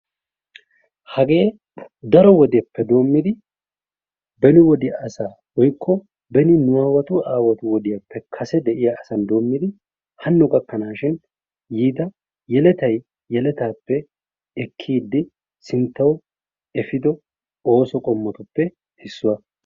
Hage daro wodeppe doommidi beni wodiyaa asay woykko beninu aawatu aawatun kase wodiyappe doommidi hano gakkanashin yiida sinttaw biida woykko yelettay yelettappe ekkide sinttaw effido oosotu qommuwappe issuwaa.